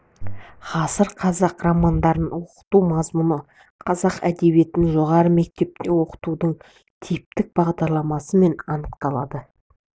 ғасыр қазақ романдарын оқыту мазмұны қазақ әдебиетін жоғары мектепте оқытудың типтік бағдарламасымен анықталады